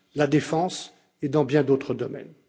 unies, la défense et dans bien d'autres domaines.